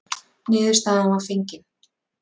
Niðurstaðan var fengin.